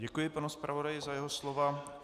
Děkuji panu zpravodaji za jeho slova.